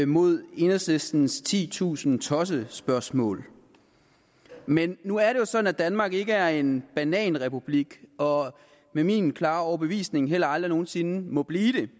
mod enhedslistens titusind tossespørgsmål men nu er det jo sådan at danmark ikke er en bananrepublik og med min klare overbevisning heller aldrig nogen sinde må blive